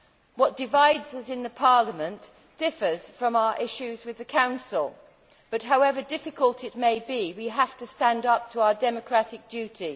What divides us in Parliament differs from our issues with the Council but, however difficult it may be, we have to stand up to our democratic duty.